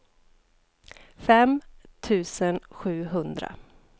fem tusen sjuhundra